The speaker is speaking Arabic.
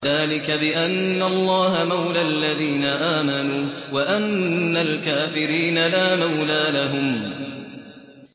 ذَٰلِكَ بِأَنَّ اللَّهَ مَوْلَى الَّذِينَ آمَنُوا وَأَنَّ الْكَافِرِينَ لَا مَوْلَىٰ لَهُمْ